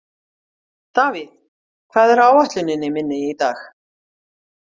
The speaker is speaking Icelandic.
Davíð, hvað er á áætluninni minni í dag?